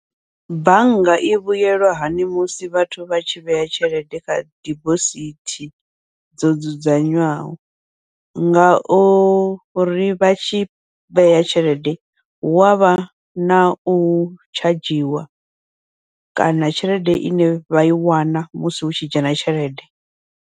Bannga i vhuyelwa hani musi vhathu vha tshi vhea tshelede kha dibosithi dzo dzudzanywaho, ngauri vhatshi vhea tshelede hu avha nau tshadzhiwa kana tshelede ine vha i wana musi hutshi dzhena tshelede.